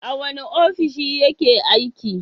A wane ofishi yake aiki?